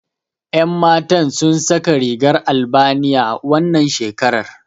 Yan Matan sun saka rigar Albaniya, wannan shekarar.